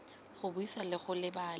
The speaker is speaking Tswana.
go buisa le go lebelela